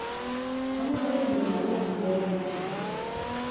Anyalo yudo maua maber e chiro.